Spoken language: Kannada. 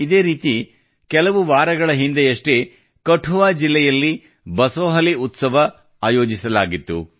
ಇದೇ ರೀತಿ ಕೆಲವು ವಾರಗಳ ಹಿಂದೆಯಷ್ಟೇ ಕಠುವಾ ಜಿಲ್ಲೆಯಲ್ಲಿ ಬಸೋಹಲಿ ಉತ್ಸವ ಆಯೋಜನೆಯಾಗಿತ್ತು